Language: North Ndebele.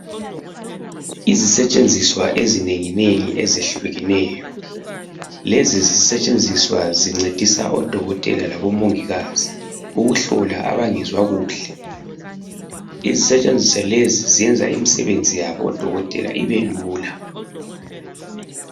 Izisetshenziswa ezinenginengi ezehlukeneyo. Lezi zisetshenziswa zincedisa odokotela labomongikazi ukuhlola abangezwa kuhle. Izisetshenziswa lezi zenza imisebenzi yabodokotela ibelula.